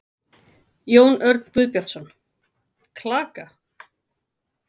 Jón Örn Guðbjartsson: Klaka?